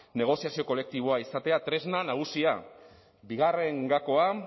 negoziazio kolektiboa izatea tresna nagusia bigarren gakoa